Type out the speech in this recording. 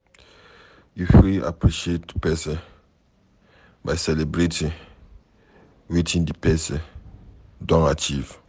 You fit appreciate person by celebrating wetin di person don achieve